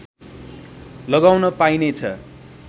लगाउन पाइने छ